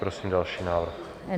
Prosím další návrh.